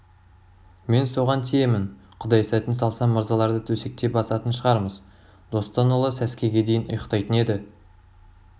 мен соған тиемін құдай сәтін салса мырзаларды төсекте басатын шығармыз достан ұлы сәскеге дейін ұйықтайтын еді